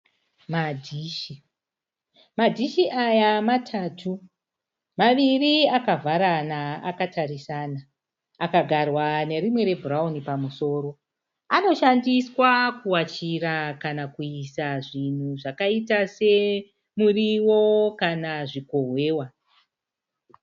Madhishi, madhishi aya matatu, maviri akavharana akatarisa, akagarwa nerimwe rebhurawuni pamusoro . Anoshandiswa kuwachira kana kuisa zvimwe zvinhu zvakaita semuriwo kana zvikohwewa.